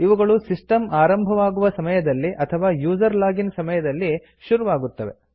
ಇವುಗಳು ಸಿಸ್ಟಂ ಆರಂಭವಾಗುವ ಸಮಯದಲ್ಲಿ ಅಥವಾ ಯುಸರ್ ಲಾಗಿನ್ ಸಮಯದಲ್ಲಿ ಶುರುವಾಗುತ್ತದೆ